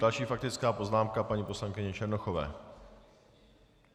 Další faktická poznámka paní poslankyně Černochové.